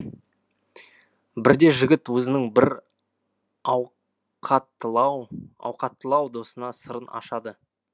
бірде жігіт өзінің бір ауқаттылау досына сырын ашады